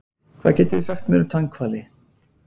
Hvað getið þið sagt mér um tannhvali?